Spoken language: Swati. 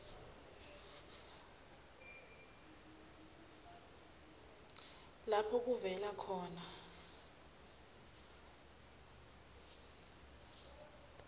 lapho kuvela khona